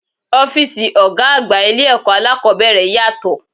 Ọ́físì ọgá àgbà ilé ẹ̀kọ́ aláàkọ́bẹ̀rẹ̀ yàtọ̀.